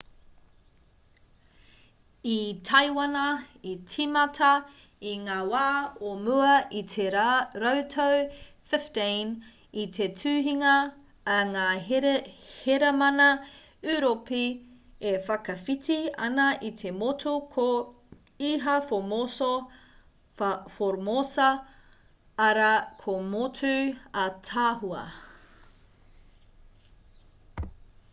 i taiwana i tīmata i ngā wā o mua i te rautau 15 i te tuhinga a ngā hēramana ūropi e whakawhiti ana i te motu ko ilha formosa arā ko motu ātaahua